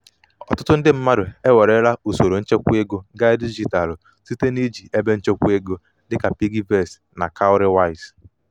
ọtụtụ ndị mmadụ ewerela usoro nchekwaego gaa dijitalụ site iji ebenchekwaego dịka piggyvest na cowrywise.